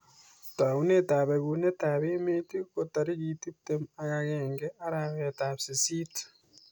Taunet ap bekuneet ap emeet ko tarikit tiptem ak agenge arawet ap sisist